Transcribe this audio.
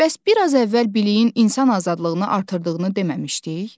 Bəs biraz əvvəl biliyin insan azadlığını artırdığını deməmişdik?